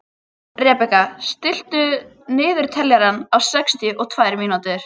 Rebekka, stilltu niðurteljara á sextíu og tvær mínútur.